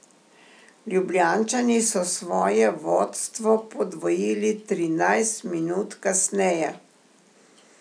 Ljubljančani so svoje vodstvo podvojili trinajst minut kasneje.